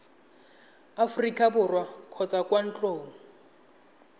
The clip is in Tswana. aforika borwa kgotsa kwa ntlong